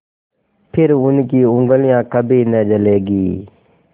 फिर उनकी उँगलियाँ कभी न जलेंगी